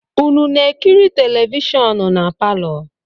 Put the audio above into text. Unu na-ekiri televishọnụ na palọ?